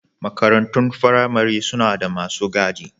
Makarantun firamare suna da masu gadi.